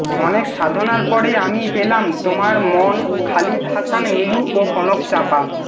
অনেক সাধনার পরে আমি পেলাম তোমার মন খালিদ হাসান মিলু ও কনক চাঁপা